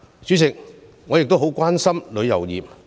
主席，我亦很關心旅遊業。